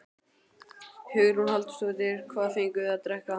Hugrún Halldórsdóttir: Hvað fenguð þið að drekka?